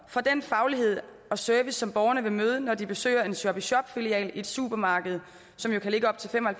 for den faglighed og service som borgerne vil møde når de besøger en shop i shop filial i et supermarked som jo kan ligge op til fem og